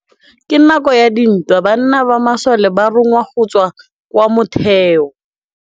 Ka nakô ya dintwa banna ba masole ba rongwa go tswa kwa mothêô.